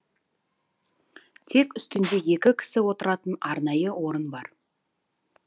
тек үстінде екі кісі отыратын арнайы орын бар